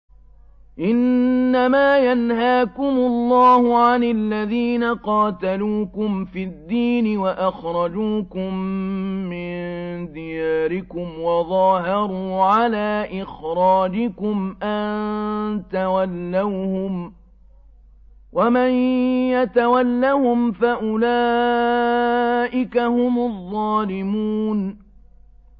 إِنَّمَا يَنْهَاكُمُ اللَّهُ عَنِ الَّذِينَ قَاتَلُوكُمْ فِي الدِّينِ وَأَخْرَجُوكُم مِّن دِيَارِكُمْ وَظَاهَرُوا عَلَىٰ إِخْرَاجِكُمْ أَن تَوَلَّوْهُمْ ۚ وَمَن يَتَوَلَّهُمْ فَأُولَٰئِكَ هُمُ الظَّالِمُونَ